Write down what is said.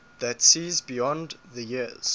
that sees beyond the years